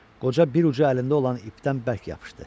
Qoca bir ucu əlində olan ipdən bərk yapışdı.